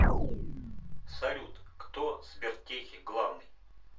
салют кто в сбертехе главный